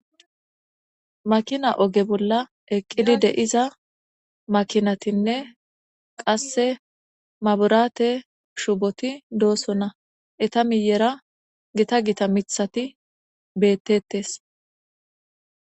makina oge bolla eqqidi deiza makinatinne qase maburaate shuboti dooso na eta miyera gita gita mithati beettettes